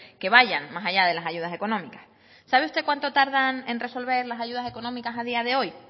que vayan más allá de las ayudas económicas sabe usted cuánto tardan en resolver las ayudas económicas a día de hoy